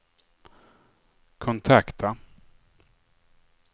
kontakta